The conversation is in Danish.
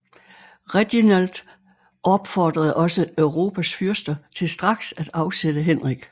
Reginald opfordrede også Europas fyrster til straks at afsætte Henrik